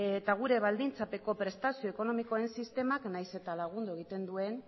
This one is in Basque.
eta gure baldintzapeko prestazio ekonomikoen sistemak nahiz eta lagundu egiten duen